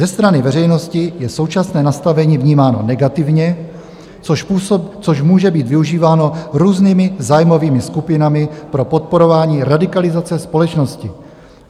Ze strany veřejnosti je současné nastavení vnímáno negativně, což může být využíváno různými zájmovými skupinami pro podporování radikalizace společnosti.